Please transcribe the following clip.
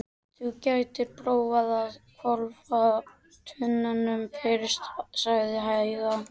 Þú gætir prófað að hvolfa tunnunum fyrst, sagði Heiða.